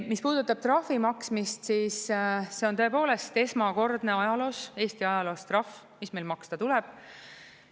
Mis puudutab trahvi maksmist, siis see on tõepoolest esmakordne ajaloos, Eesti ajaloos trahv, mis meil maksta tuleb.